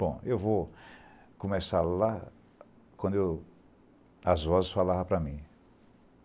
Bom, eu vou começar lá quando eu as vozes falaram para mim.